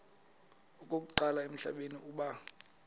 okokuqala emhlabeni uba